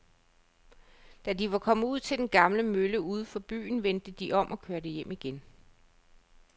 Da de var kommet ud til den gamle mølle uden for byen, vendte de om og kørte hjem igen.